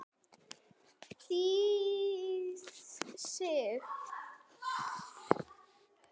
Þýð. Sig.